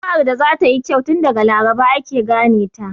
Juma'ar da za ta yi kyau, tun daga Laraba ake gane ta.